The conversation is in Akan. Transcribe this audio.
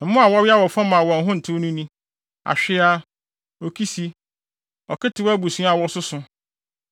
“ ‘Mmoa a wɔwea wɔ fam a wɔn ho ntew no ni: Ahweaa, okisi, ɔketew abusua a wɔsoso,